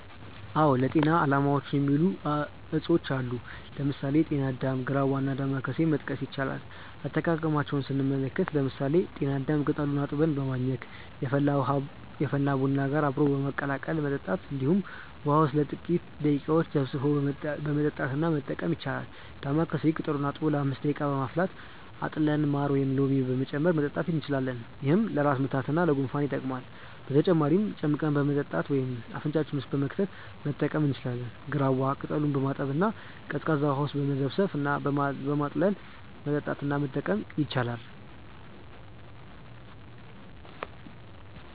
አዎ ለጤና አላማዎች የሚውሉ እፅዋቶች አሉ። ለምሳሌ: ጤና አዳም፣ ግራዋ እና ዳማከሴ መጥቀስ ይቻላል። አጠቃቀማቸውንም ስንመለከት ለምሳሌ ጤና አዳምን ቅጠሉን አጥበን በማኘክ፣ የፈላ ቡና ጋር አብሮ በመቀላቀል መጠጣት እንዲሁም ውሃ ውስጥ ለጥቂተረ ደቂቃዎች ዘፍዝፈን በመጠጣት እና መጠቀም ይቻላል። ዳማከሴንም ቅጠሉን አጥቦ ለ5 ደቂቃ በማፍላት አጥልለን ማር ወይም ሎሚ በመጨመር መጠጣት እንችላለን። ይህም ለራስ ምታት እና ለጉንፋን ይጠቅማል። በተጨማሪም ጨምቀን በመጠጣት ወይም አፍንጫችን ውስጥ በመክተት መጠቀም እንችላለን። ግራዋን ቅጠሉን በማጠብ እና ቀዝቃዛ ውሃ ውስጥ በመዘፍዘፍ እና በማጥለል መጠጣት እና መጠቀም ይቻላል።